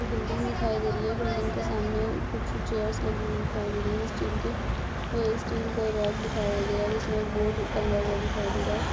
एक बिल्डिंग दिखाई दे रही है| बिल्डिंग के सामने कुछ चेयर लगी हुई दिखाई दे रही है | स्टील के स्टील के रैक दिखाया गया है जिसमे एक बोर्ड टंगा हुआ दिखाई दे रहा है